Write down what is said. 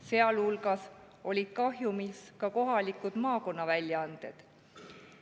Sealhulgas olid kahjumis kohalikud maakonnaväljaanded.